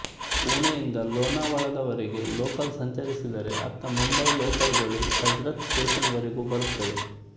ಪುಣೆಯಿಂದ ಲೋನಾವಳಾದವರೆಗೆ ಲೋಕಲ್ ಸಂಚರಿಸಿದರೆ ಅತ್ತ ಮುಂಬಯಿ ಲೋಕಲುಗಳು ಕರ್ಜತ್ ಸ್ಟೇಷನ್ ವರೆಗೂ ಬರುತ್ತವೆ